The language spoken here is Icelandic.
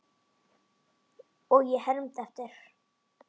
Og ég hermdi eftir.